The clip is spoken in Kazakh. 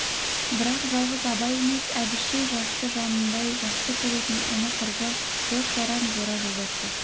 бірақ жалғыз абай емес әбіштей жасты жанындай жақсы көретін іні-құрбы дос-жаран жора-жолдас бар